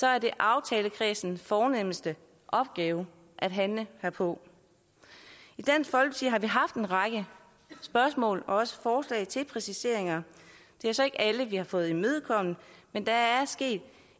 er det aftalekredsens fornemste opgave at handle herpå i dansk folkeparti har vi haft en række spørgsmål og også forslag til præciseringer det er så ikke alle vi har fået imødekommet men der er sket